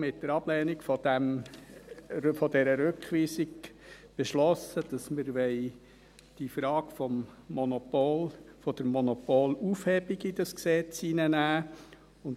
Mit der Ablehnung dieser Rückweisung haben wir beschlossen, dass wir die Frage der Monopolaufhebung in dieses Gesetz aufnehmen wollen.